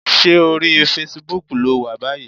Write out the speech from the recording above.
Ṣé orí fesibúùkù ló wà báyìí?